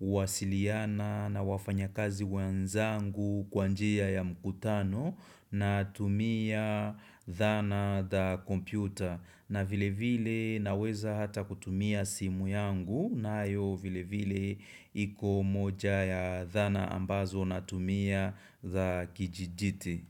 kuwasiliana na wafanya kazi wenzangu kwa njia ya mkutano na tumia dhana za computer na vile vile naweza hata kutumia simu yangu nayo vile vile iko moja ya dhana ambazo na tumia za kidijiti.